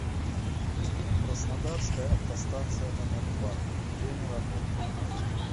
краснодарская автостанция номер два время работы